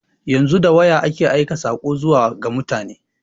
Yanzu da waya ake aika saƙo zuwa ga mutane.